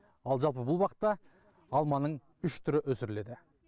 ал жалпы бұл бақта алманың үш түрі өсіріледі